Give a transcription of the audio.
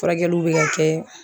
Furakɛluw be ka kɛ